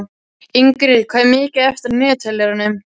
Ingrid, hvað er mikið eftir af niðurteljaranum?